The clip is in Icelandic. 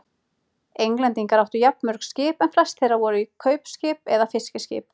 Englendingar áttu jafnmörg skip en flest þeirra voru kaupskip eða fiskiskip.